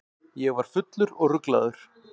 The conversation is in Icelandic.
Ég var fullur og ruglaður.